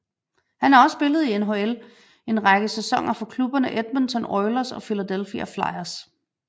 Han har også spillet i NHL en række sæsoner for klubberne Edmonton Oilers og Philadelphia Flyers